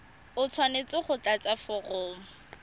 o tshwanetse go tlatsa foromo